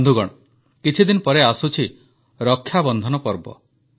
ବନ୍ଧୁଗଣ କିଛିଦିନ ପରେ ଆସୁଛି ରକ୍ଷାବନ୍ଧନ ପର୍ବ